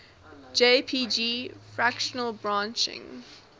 jpg fractal branching